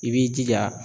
I b'i jija